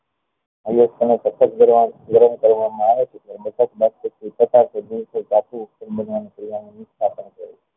iron સતત ગરમ કરવા માં આવે ત્યારે ધાતુ બનવા ની ક્રિયા ને